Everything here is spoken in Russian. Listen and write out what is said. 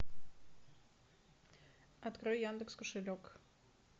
открой яндекс кошелек